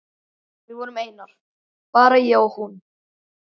Við vorum einar, bara ég og hún.